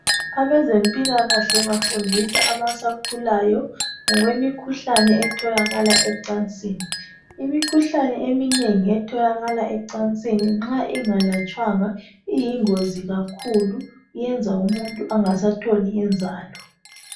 Abezempilakahle bafundisa abasakhulayo ngokwemikhuhlane etholakala ecansini. Imikhuhlane eminengi etholakala ecansini nxa ingalatshwanga iyingozi kakhulu iyenza umuntu angasatholi inzalo.